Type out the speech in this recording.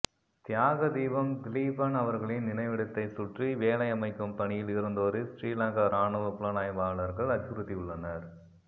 தியாக தீபம் திலீபன் அவர்களின் நினைவிடத்தைச் சுற்றி வேலை அமைக்கும் பணியில் இருந்தோரை சிறிலங்கா இராணுவ புலனாய்வாளர்கள் அச்சுறுத்தியு்ள்ளனர்